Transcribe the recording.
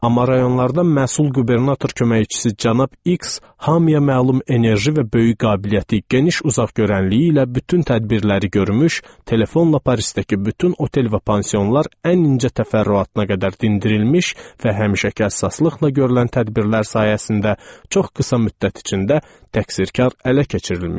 Amma rayonlarda məsul qubernator köməkçisi cənab X hamıya məlum enerji və böyük qabiliyyəti, geniş uzaqgörənliyi ilə bütün tədbirləri görmüş, telefonla Parisdəki bütün otel və pansionlar ən incə təfərrüatına qədər dindirilmiş və həmişəki əsaslıqla görülən tədbirlər sayəsində çox qısa müddət içində təqsirkar ələ keçirilmişdi.